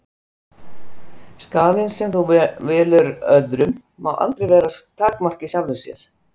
Skaðinn sem þú veldur öðrum má aldrei vera takmark í sjálfu sér.